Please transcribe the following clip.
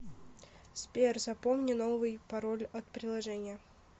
сбер запомни новый пароль от приложения